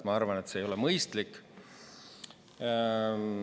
Ma arvan, et see ei ole mõistlik.